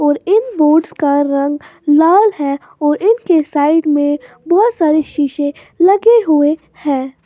और इन बोर्ड्स का रंग लाल है और इनके साइड में बहुत सारे शीशे लगे हुए हैं।